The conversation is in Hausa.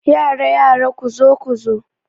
Yara yara, kuzo kuzo